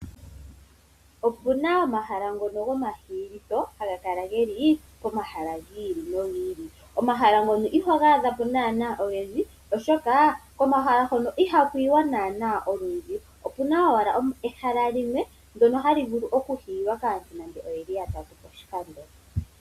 Opu na omahala ngono gokuhiila haga kala ge li pomahala gi ili nogi ili. Omahala ngono iho ga adha po naanaa ogendji, oshoka komahala hono ihaku yiwa naanaa olundji. Opu na owala ehala limwe ndyono hali vulu okuhiilwa kaantu nande oya li yatatu poshikando.